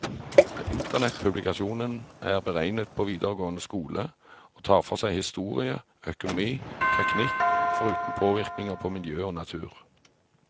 Internettpublikasjonen er beregnet for videregående skole, og tar for seg historie, økonomi, teknikk, foruten påvirkninger på miljø og natur.